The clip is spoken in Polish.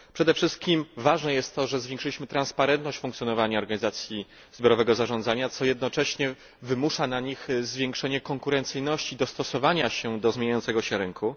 Przede wszystkim ważne jest to, że zwiększyliśmy transparentność funkcjonowania organizacji zbiorowego zarządzania, co jednocześnie wymusza na nich zwiększenie konkurencyjności, dostosowania się do zmieniającego się rynku.